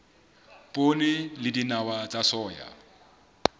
poone le dinawa tsa soya